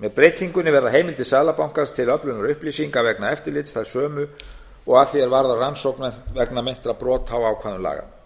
með breytingunni verða heimildir seðlabankans til öflunar upplýsinga vegna eftirlits þær sömu og að því er varðar rannsóknir vegna meintra brota á ákvæðum laganna